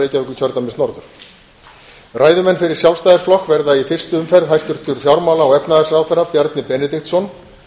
reykjavíkurkjördæmis norður ræðumenn fyrir sjálfstæðisflokk verða í fyrstu umferð hæstvirtur fjármála og efnahagsráðherra bjarni benediktsson